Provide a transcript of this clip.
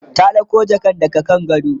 ta ɗauko jakan daga kan gado?